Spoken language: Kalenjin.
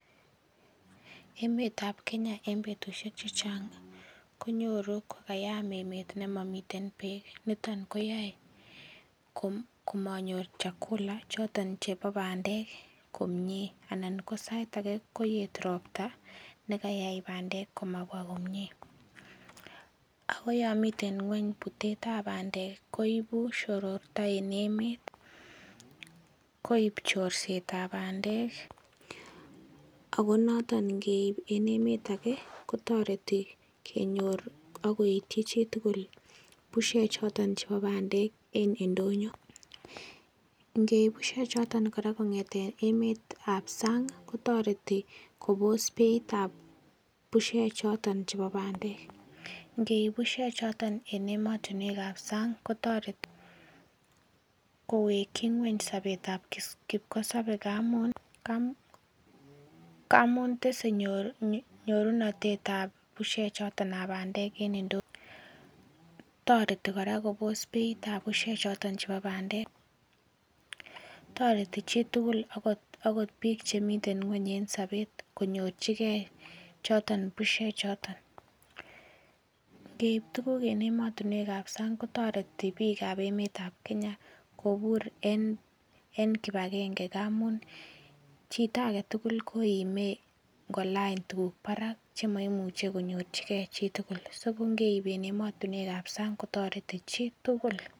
Emetab Kenya en betusiek chechang kenyoru kokayam emeet nemamiten bek niton ko manyor chakula konoton koyae anan ko sait age koyaet robta ih nekiayai bandek komabwa komie Ako Yoon miten ng'uany butet tab bandek koibu shorota en emeet akoib horsetab bandek ako noton ngeib en emeet ake kotareti konyor akoityi chitugul busiek choton en indonyo. Ngeib busiek choton kora kong'eten emetab sang kotareti Kobos betab busiek choton chebo bandek , ingeib busiek choton en emotinuekab sang kotareti kowekyi nyuany sabetab kipkosobe, tareti kora Kobos beitab beisiek choton chebo bandek tareti chitugul akot bik chemiten ng'uany en sabet konyorchige choton busiek choton ingeib tuguk en emotinuek kab sang kotareti bikab emeetab Kenya kobur en kibagenge ngamun chito agetugul koime ingolany tuguk barak chemaimuche konyorchike chitugul so ko ngeib en emotinuekab sang kotareti chitugul